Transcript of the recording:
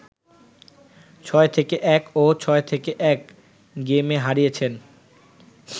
৬-১ ও ৬-১ গেমে হারিয়েছেন